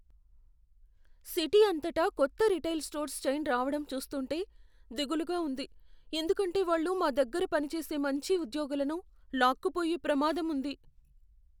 City అంతటా కొత్త retail stores chain రావడం చూస్తుంటే దిగులుగా ఉంది, ఎందుకంటే వాళ్ళు మా దగ్గర పనిచేసే మంచి ఉద్యోగులను లాక్కుపోయే ప్రమాదం ఉంది.